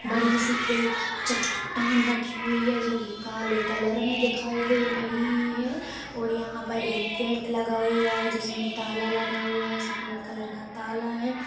बड़ी सी एक चट्टान रखी हुई है जो कि काले कलर में दिखाई दे रही है और यहां पर एक गेट लगा हुआ है जिसमे ताला लगा हुआ है सफेद कलर का ताला है।